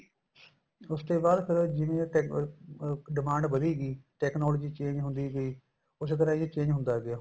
ਉਸ ਤੇ ਬਾਅਦ ਜਿਵੇਂ ਅਹ ਅਹ demand ਵੱਧੀ ਗੀ technology change ਹੁੰਦੀ ਗਈ ਉਸੇ ਤਰ੍ਹਾਂ ਇਹ change ਹੁੰਦਾ ਗਿਆ